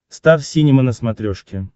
стар синема на смотрешке